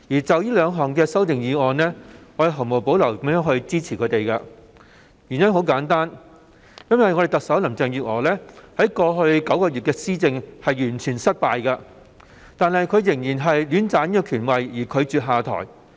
就這些修訂議案，我會毫無保留予以支持，原因非常簡單，就是因為特首林鄭月娥在過去9個月的施政完全失敗，但卻仍然戀棧權位，拒絕下台。